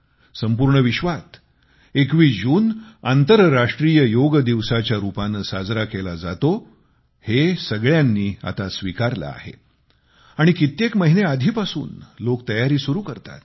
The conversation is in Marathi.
संपूर्ण विश्वात 21 जून आंतरराष्ट्रीय योग दिवसाच्या रूपाने साजरा केला जातो हे सगळ्यांनी आता स्वीकारले आहे आणि कित्येक महिने आधीपासून लोक तयारी सुरु करतात